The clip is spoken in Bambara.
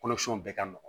Kɔnɔ siɲɛn bɛɛ ka nɔgɔn